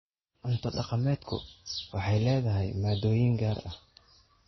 Cunto dhaqameedku waxay leedahay maaddooyin gaar ah.